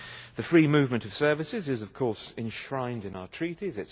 The free movement of services is of course enshrined in our Treaties.